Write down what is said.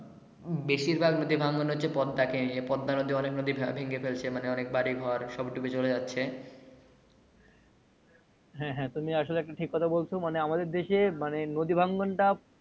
বেশির ভাগ নদী ভাঙ্গন হচ্ছে পদ্মা কে নিয়ে পদ্মানদী অনেক নদী ভেঙে ফেলছে মানে অনেক বাড়ি ঘর সব ডুবে চলে যাচ্ছে হ্যা হ্যা তুমি আসলে একটা ঠিক কথা বলছো